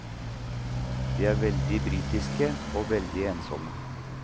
De er veldig britiske og veldig ensomme.